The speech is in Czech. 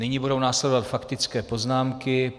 Nyní budou následovat faktické poznámky.